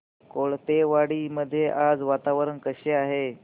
कोळपेवाडी मध्ये आज वातावरण कसे आहे